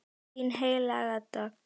Þín Helga Dögg.